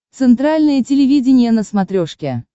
центральное телевидение на смотрешке